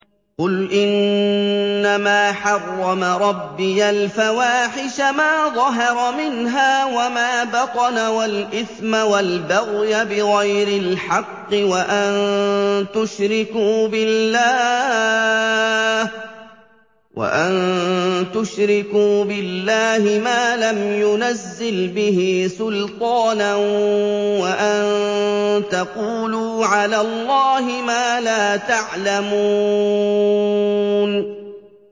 قُلْ إِنَّمَا حَرَّمَ رَبِّيَ الْفَوَاحِشَ مَا ظَهَرَ مِنْهَا وَمَا بَطَنَ وَالْإِثْمَ وَالْبَغْيَ بِغَيْرِ الْحَقِّ وَأَن تُشْرِكُوا بِاللَّهِ مَا لَمْ يُنَزِّلْ بِهِ سُلْطَانًا وَأَن تَقُولُوا عَلَى اللَّهِ مَا لَا تَعْلَمُونَ